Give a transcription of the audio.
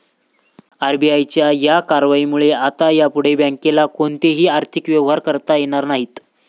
आरबीआयच्या या कारवाईमुळं आता यापुढं बँकेला कोणतेही आर्थिक व्यवहार करता येणार नाहीत.